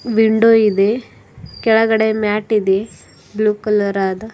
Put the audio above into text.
window ಇದೆ ಕೆಳಗಡೆ mat ಇದೆ ಬ್ಲೂ ಕಲರ್ ಆದ--